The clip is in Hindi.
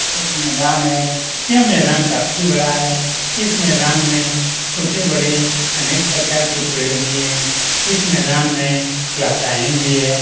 यह एक मैदान है यह मैदान काफी बड़ा है इस मैदान में छोटे-बड़े अनेक प्रकार के पेड़ भी है इस मैदान में लताएँ भी है।